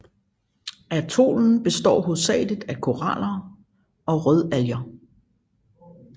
Atollen består hovedsageligt af koraler og rødalger